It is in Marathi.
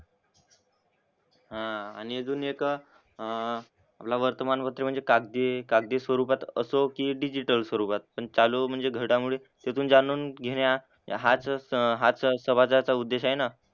हां आणि अजून एक अह आपला वर्तमानपत्रे म्हणजे कागदी कागदी स्वरूपात असो की डिजिटल स्वरूपात पण चालू म्हणजे घडामोडी तिथून जाणून घेण्या हाच हाच संवादाचा उद्देश आहे ना.